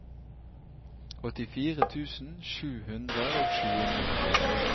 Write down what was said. åttifire tusen sju hundre og tjueni